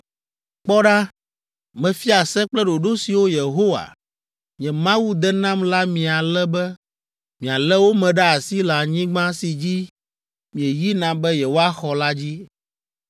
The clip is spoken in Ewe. “Kpɔ ɖa, mefia se kple ɖoɖo siwo Yehowa, nye Mawu de nam la mi ale be mialé wo me ɖe asi le anyigba si dzi mieyina be yewoaxɔ la dzi.